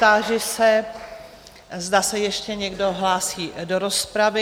Táži se, zda se ještě někdo hlásí do rozpravy.